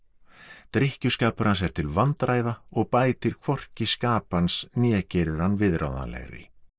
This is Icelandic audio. drykkjuskapur hans er til vandræða og bætir hvorki skap hans né gerir hann viðráðanlegri